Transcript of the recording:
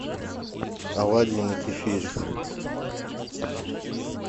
оладьи на кефире